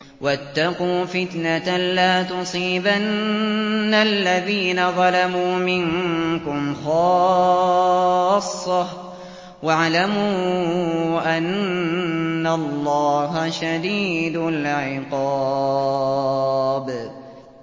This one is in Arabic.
وَاتَّقُوا فِتْنَةً لَّا تُصِيبَنَّ الَّذِينَ ظَلَمُوا مِنكُمْ خَاصَّةً ۖ وَاعْلَمُوا أَنَّ اللَّهَ شَدِيدُ الْعِقَابِ